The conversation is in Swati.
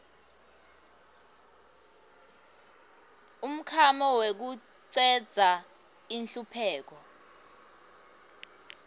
umklamo wekucedza inhlupheko